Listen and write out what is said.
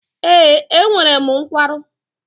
Ee, enwere m nkwarụ